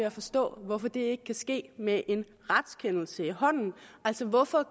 at forstå hvorfor det ikke kan ske med en retskendelse i hånden altså hvorfor